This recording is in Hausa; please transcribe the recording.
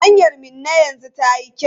Hanyar Minna yanzu tayi kyau?